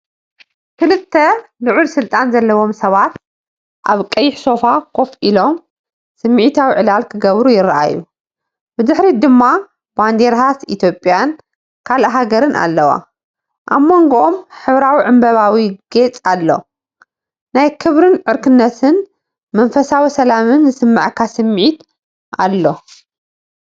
ክልተ ልዑል ስልጣን ዘለዎም ሰባት ኣብ ቀይሕ ሶፋ ኮፍ ኢሎም፡ ስምዒታዊ ዕላል ክገብሩ ይረኣዩ። ብድሕሪት ድማ ባንዴራታት ኢትዮጵያን ካልእ ሃገርን ኣለዋ። ኣብ መንጎኦም ሕብራዊ ዕምባባዊ ጌጽ ኣሎ። ናይ ክብሪን ዕርክነትን መንፈሳዊ ሰላምን ዝስምዓካ ስምዒት ኣሎ።